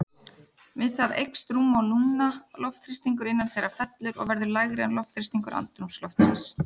Við það eykst rúmmál lungna, loftþrýstingur innan þeirra fellur og verður lægri en loftþrýstingur andrúmsloftsins.